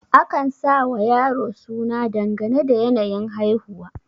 akan sawa yaro suna dangane da yanayin haihuwa